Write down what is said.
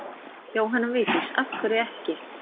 Jóhanna Vigdís: Af hverju ekki?